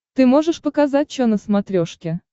ты можешь показать че на смотрешке